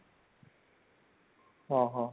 ଓଃ ହୋ